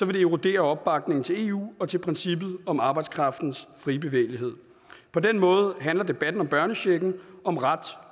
det erodere opbakningen til eu og til princippet om arbejdskraftens frie bevægelighed på den måde handler debatten om børnechecken om ret